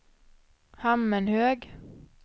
Hammenhög